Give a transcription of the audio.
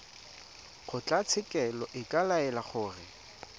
kgotlatshekelo e ka laela gore